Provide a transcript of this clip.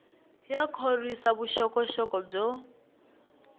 ya khorwisa vuxokoxoko byo